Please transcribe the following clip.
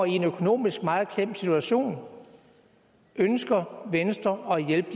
i en økonomisk meget klemt situation ønsker venstre at hjælpe